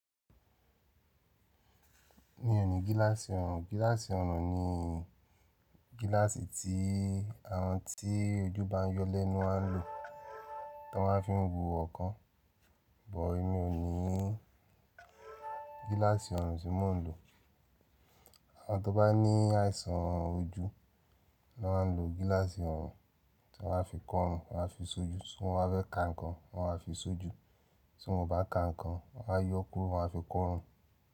Mi ò ní gíláàsì ọrùn. Gíláàsì ọrùn ni gíláàsì tí àwọn tí ojú bá yọ lẹ́nu máa ń lò, tí wọ́n máa ń fiń wo ookan. Bọ̀, èmi ò ní gíláàsì ọrùn tí mò ń lò. Àwọn tó bá ní àìsàn ojú na máa ń lo gíláàsì ọrùn. Wọ́n máa fi kọ ọrùn, wọ́n má fi sójú sun Tí wọ́n bá fẹ́ ka nǹkan, wọ́n maa fi sójú. Tí wọ́n ò bá ka nǹkan, wọ́n a yọ kúrò, wọ́n a fi kọ ọrùn.